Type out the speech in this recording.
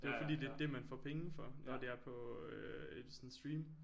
Det er jo fordi det er det man får penge for når det er på øh sådan stream